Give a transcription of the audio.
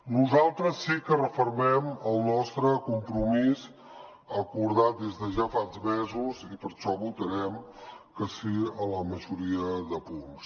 nosaltres sí que refermem el nostre compromís acordat des de ja fa mesos i per això votarem que sí a la majoria de punts